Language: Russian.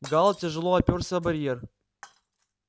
гаал тяжело опёрся о барьер